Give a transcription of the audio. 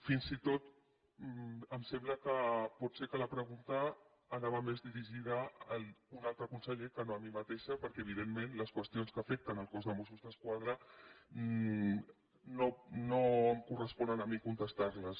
fins i tot em sembla que potser la pregunta anava més dirigida a un altre conseller que no a mi mateixa perquè evidentment les qüestions que afecten el cos de mossos d’esquadra no em corresponen a mi contestar les